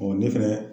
ne fɛnɛ